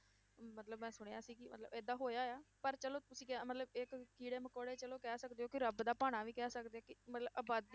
ਮਤਲਬ ਮੈਂ ਸੁਣਿਆ ਸੀ ਕਿ ਮਤਲਬ ਏਦਾਂ ਹੋਇਆ ਆ, ਪਰ ਚਲੋ ਤੁਸੀਂ ਕਿਹਾ ਮਤਲਬ ਇੱਕ ਕੀੜੇ ਮਕੌੜੇ ਚਲੋ ਕਹਿ ਸਕਦੇ ਹੋ ਕਿ ਰੱਬ ਦਾ ਭਾਣਾ ਵੀ ਕਹਿ ਸਕਦੇ ਹੋ ਕਿ ਮਤਲਬ ਆਬਾਦੀ,